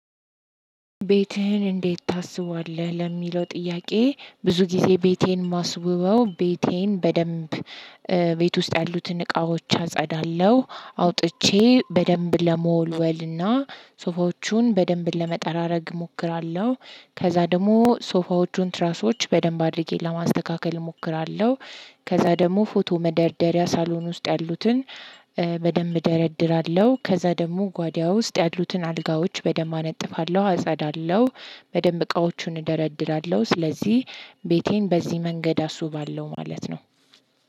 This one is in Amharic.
ቤትህን እንዴት ታስበዋልውህ? ለሚለው ጥያቄ ብዙ ጊዜ ቤቴን ማስውበው ቤቴን በደንብ ቤት ውስጥ ያሉትን እቃዎች አጸዳለሁ አውጥቼ በደንብ ለመወልወልና ሶፋዎቹን በደንብ ለመጠራረግ እሞክራለሁ ከዛ ደግሞ ሶፋዎቹን ትራሶች በደንብ አድርጌ ለማስተካከል እሞክራለሁ ከዛ ደግሞ ፎቶ መደርደሪያ ሳሎን ውስጥ ያሉትን በደንብ እደረድራለሁ ከዛ ደግሞ ጓዲያ ውስጥ ያሉትን አልጋዎች በደንብ አነጥፋለሁ አጸዳለሁ በደንብ እቃዎቹን እደረድራለሁ ስለዚህ ቤቴን በዚህ መንገድ አስውባለሁ ማለት ነው።